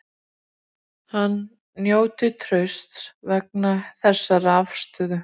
Hann njóti trausts vegna þessarar afstöðu